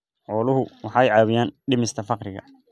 Xooluhu waxay caawiyaan dhimista faqriga.